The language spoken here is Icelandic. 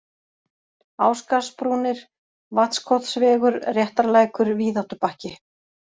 Ásgarðsbrúnir, Vatnskotsvegur, Réttarlækur, Víðáttubakki